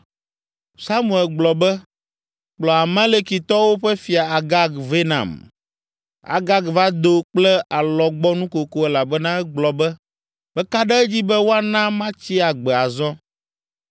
Samuel gblɔ be, “Kplɔ Amalekitɔwo ƒe fia Agag vɛ nam.” Agag va do kple alɔgbɔnukoko elabena egblɔ be, “Meka ɖe edzi be woana matsi agbe azɔ!”